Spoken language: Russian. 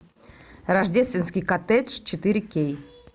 рождественский коттедж четыре кей